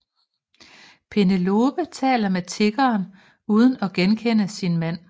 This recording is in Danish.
Penelope taler med tiggeren uden at genkende sin mand